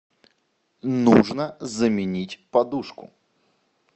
нужно заменить подушку